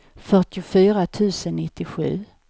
fyrtiofyra tusen nittiosju